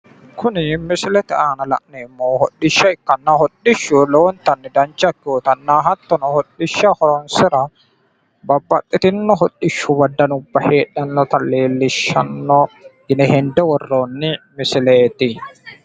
Kuni misilete aana la'neemmohu hodhishsha ikkanna togoorino babbaxitinoti hodhishshu hodhissano no yinne xawinsara hasi'noonni misileti